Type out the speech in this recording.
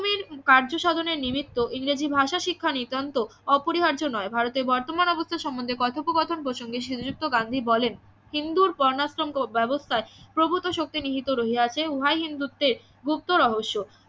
কার্যসাধনে নিমিত্ত ইংরেজি ভাষা শিক্ষা নিতান্ত অপরিহার্য নয় ভারতের বর্তমান অবস্থা সম্বন্ধে কথোপকথন প্রসঙ্গে শ্রীযুক্ত গান্ধী বলেন হিন্দুর বর্ণাশ্রম ব্যবস্থায় প্রভূত শক্তি নিহিত রইয়াছে উহাই হিন্দুত্বের গুপ্ত রহস্য